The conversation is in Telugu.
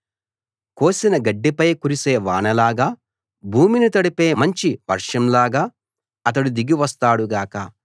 కోసిన గడ్డిపై కురిసే వానలాగా భూమిని తడిపే మంచి వర్షంలాగా అతడు దిగి వస్తాడు గాక